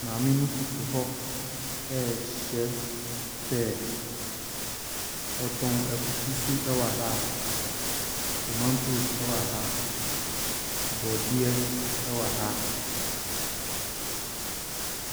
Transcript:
Maame no koto hɔ rehyɛ pear. Ɔtɔn akutu nso wɔ ha. Tomantos wɔ ha. Borɔdeɛ wɔ ha.